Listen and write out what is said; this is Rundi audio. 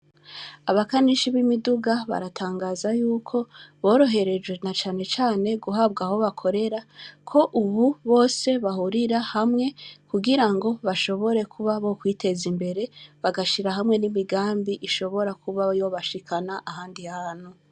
Abakanishi b’imiduga, baratangaza yuko boroherejwe, na cane cane guhabwa aho bakorera, ko ubu bose bahurira hamwe kugira ngo bashobore kuba bokwiteza imbere, bagashira hamwe n’imigambi ishobora kuba yobashikana ahandi hantu.